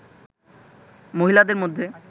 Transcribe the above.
মহিলাদের মধ্যে